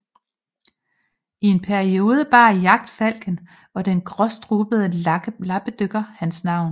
I en periode bar jagtfalken og den gråstrubede lappedykker hans navn